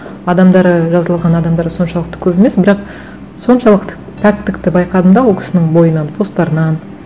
адамдары жазылған адамдары соншалықты көп емес бірақ соншалықты пәктікті байқадым да ол кісінің бойынан посттарынан